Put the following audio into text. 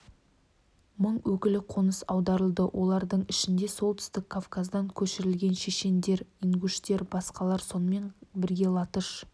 мың өкілі қоныс аударылды олардың ішінде солтүстік кавказдан көшірілген шешендер ингуштер балқарлар сонымен бірге латыш